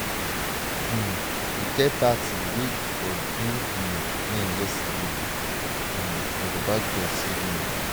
um e get bad thing wey for do um me yesterday um but baba god save me.